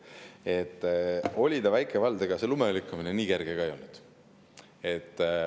See oli väike vald, aga ega see lumelükkamine nii kerge ka ei olnud.